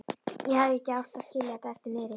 Ég hefði ekki átt að skilja þetta eftir niðri.